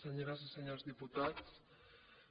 senyores i senyors diputats